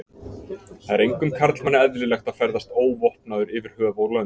Það er engum karlmanni eðlilegt að ferðast óvopnaður yfir höf og lönd.